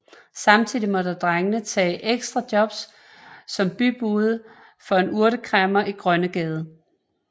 Samtidig måtte drengene tage ekstra jobs som bybude for en urtekræmmer i Grønnegade